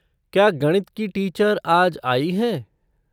क्या गणित की टीचर आज आई हैं?